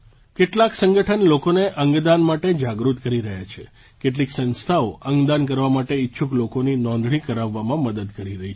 કેટલાંક સંગઠન લોકોને અંગદાન માટે જાગૃત કરી રહ્યા છે કેટલીક સંસ્થાઓ અંગદાન કરવા માટે ઇચ્છુક લોકોની નોંધણી કરાવવામાં મદદ કરી રહી છે